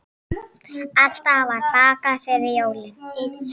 Alltaf var bakað fyrir jólin.